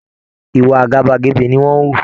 Ìwà àgàbàgebè ni wọ́n ń hù